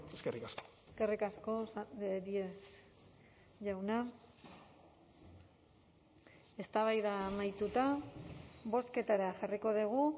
eskerrik asko eskerrik asko díez jauna eztabaida amaituta bozketara jarriko dugu